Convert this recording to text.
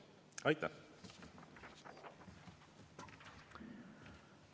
Aitäh!